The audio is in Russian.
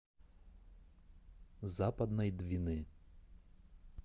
западной двины